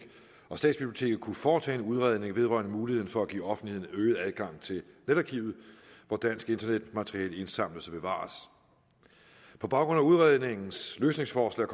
og statsbiblioteket kunne foretage en udredning vedrørende muligheden for at give offentligheden øget adgang til netarkivet hvor dansk internetmateriale indsamles og bevares på baggrund af udredningens løsningsforslag